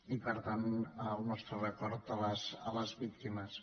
i per tant el nostre record a les víctimes